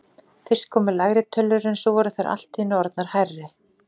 Fyrst komu lægri tölur en svo voru þær allt í einu orðnar hærri.